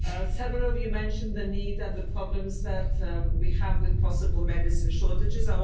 Several of you mentioned the need and the problems that we have with possible medicine shortages.